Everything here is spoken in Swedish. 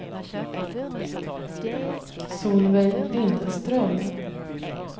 Solveig Lindström